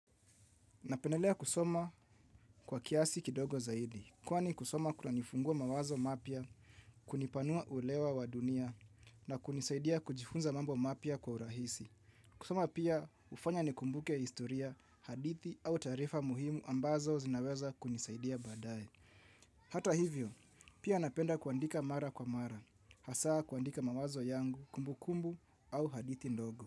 Napendelea kusoma kwa kiasi kidogo zaidi, kwa ni kusoma kuna nifungua mawazo mapya, kunipanua uelewa wa dunia na kunisaidia kujifunza mambo mapya kwa urahisi. Kusoma pia ufanya ni kumbuke historia, hadithi au taarifa muhimu ambazo zinaweza kunisaidia baadaye. Hata hivyo, pia napenda kuandika mara kwa mara, hasaa kuandika mawazo yangu kumbukumbu au hadithi ndogo.